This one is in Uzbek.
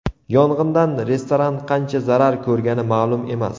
Yong‘indan restoran qancha zarar ko‘rgani ma’lum emas.